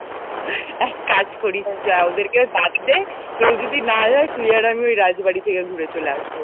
এক কাজ করি চল ওদেরকে বাদ দে কেউ যদি না যায় তুই আর আমি ওই রাজবাড়ী থেকে ঘুরে চলে আসব